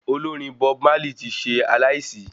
Olórin Bob Marley tí ṣe aláìsí